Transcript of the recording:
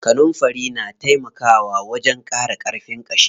Kanunfari na taimaka wajen ƙara ƙarfin ƙashi.